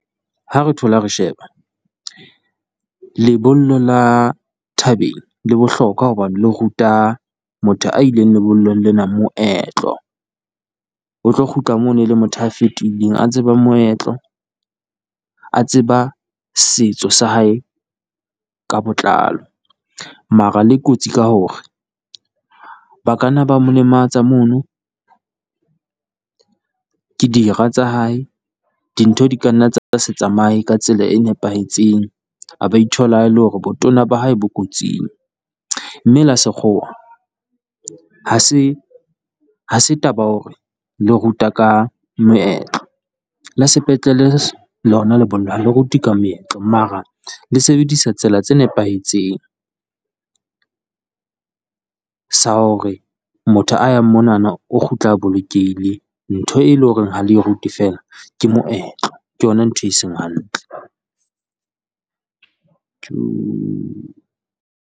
Ha re thola re sheba lebollo la thabeng le bohlokwa, hobane le ruta motho a ileng lebollong lena moetlo. O tlo kgutla mono e le motho a fetohileng a tseba moetlo, a tseba setso sa hae ka botlalo. Mara le kotsi ka hore ba ka na ba mo lematsa mono ke dira tsa hae, dintho di ka nna tsa se tsamaye ka tsela e nepahetseng, a ba ithola e le hore botona ba hae bo kotsing. Mme la sekgowa ha se ha se taba ya hore le ruta ka moetlo, la sepetlele lona lebollo ha le rute ka meetlo. Mara le sebedisa tsela tse nepahetseng sa hore motho a yang monana o kgutla bolokehile, ntho e le ho reng ha le e rute feela, ke moetlo ke yona ntho e seng hantle tjoo.